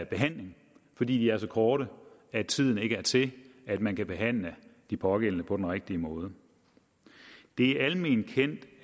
behandling fordi de er så korte at tiden ikke er til at man kan behandle de pågældende på den rigtige måde det er alment kendt